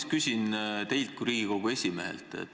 Ma küsin teilt kui Riigikogu esimehelt.